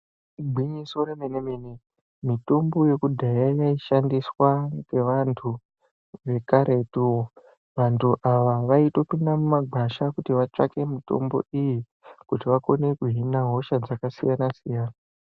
Igwinyiso remene mene mitombo yekudhaya yaishandisa ngevantu vekaretu vantu vaitsvaka mitombo Kuti vakone kuhina hosha dzakasiyana siyana.